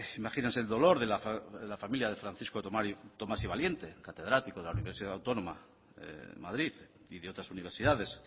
imagínense el dolor de la familia de francisco tomás y valiente catedrático de la universidad autónoma de madrid y de otras universidades